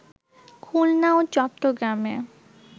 খুলনা ও চট্রগ্রামে